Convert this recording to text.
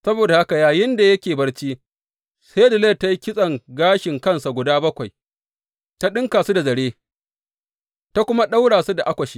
Saboda haka yayinda yake barci, sai Delila ta yi kitson gashin kansa guda bakwai ta ɗinka su da zare, ta kuma ɗaura su da akwasha.